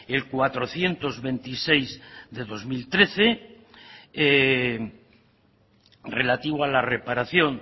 el cuatrocientos veintiséis barra dos mil trece relativo a la reparación